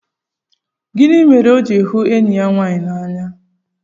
Gịnị mere o ji hụ enyi ya nwaanyị n'anya?